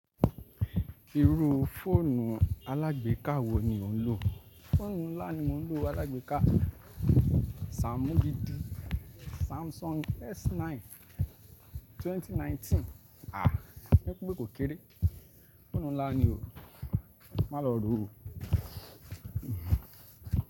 Irú fóònù alágbéka wo ni ò ń lò? Fóònù ńlá ni mo ń lò alágbéka Samsung S9 À, ẹ kú pé kò kéré. Fóònù ńlá ni o, má lọ rò ó.